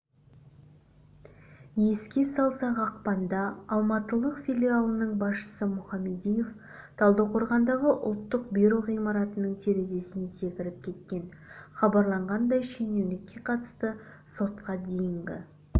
еске салсақ ақпанда алматылық филиалының басшысы мұхамедиев талдықорғандағы ұлттық бюро ғимаратының терезесінен секіріп кеткен хабарланғандай шенеунікке қатысты сотқа дейінгі